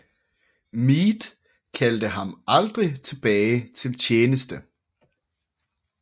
Meade kaldte ham aldrig tilbage til tjeneste